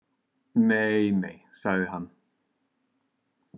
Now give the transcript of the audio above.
Nei nei, sagði hann.